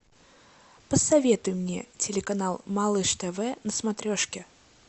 посоветуй мне телеканал малыш тв на смотрешке